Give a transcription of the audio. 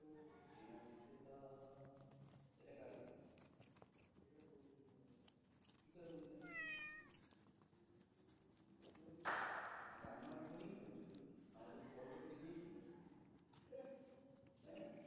এটা আমার phone এই শুনেছো তুমি আমাকে call করতে গিয়েই শুনেছো তাই না?